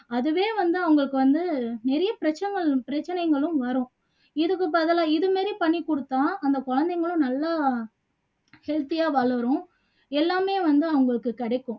அதுவே வந்து அவங்களுக்கு வந்து நிறைய பிரச்சங்க பிரச்சனைங்களும் வரும் இதுக்கு பதிலா இது மாதிரி பண்ணி குடுத்தா அந்த குழந்தைங்களும் நல்லா healthy ஆ வளரும் எல்லாமே வந்து அவங்களுக்கு கிடைக்கும்